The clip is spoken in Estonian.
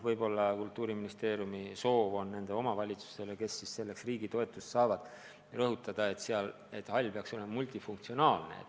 Võib-olla Kultuuriministeeriumi sõnum omavalitsustele, kes selleks riigi toetust saavad, on see, et hall peaks olema multifunktsionaalne.